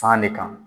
San ne kan